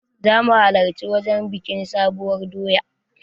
Zamu halarci wajen biƙin sabuwar doya